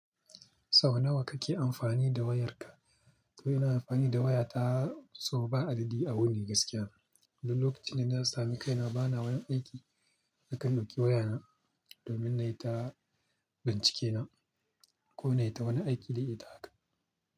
Sau nawa kake amfani da wayarka? To ina amfani da waya ta sau ba adadi a wuni gaskiya. Duk lokacin da na sami kaina bana wani aiki. Nakan ɗauki waya na domin nayi ta bincike na ko nai ta wani aiki da ita haka.